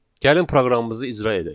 Gəlin proqramımızı icra edək.